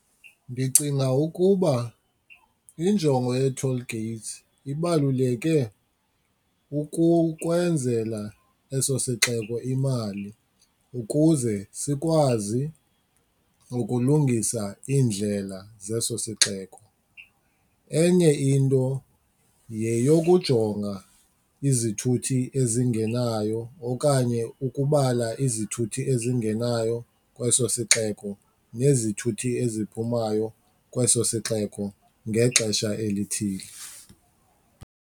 Ndicinga ukuba injongo yee-toll gates ibaluleke ukukwenzela eso sixeko imali ukuze sikwazi ukulungisa iindlela zeso sixeko. Enye into yeyokujonga izithuthi ezingenayo okanye ukubala izithuthi ezingenayo kweso sixeko nezithuthi eziphumayo kweso sixeko ngexesha elithile.